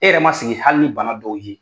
E yɛrɛ ma sigi hali ni bana dɔw ye